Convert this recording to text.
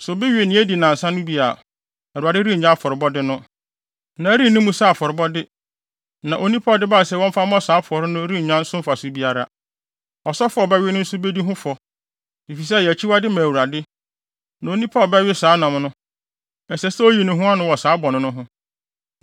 Sɛ obi we nea adi nnansa no bi a, Awurade rennye afɔrebɔde no; na ɛrenni mu sɛ afɔrebɔde, na onipa a ɔde bae sɛ wɔmfa mmɔ saa afɔre no rennya so mfaso biara. Ɔsɔfo a ɔbɛwe no nso bedi ho fɔ, efisɛ ɛyɛ akyiwade ma Awurade; na onipa a ɔbɛwe saa nam no, ɛsɛ sɛ oyi ne ho ano wɔ saa bɔne no ho.